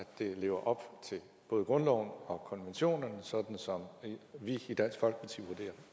det lever op til både grundloven og konventionen sådan som vi i dansk folkeparti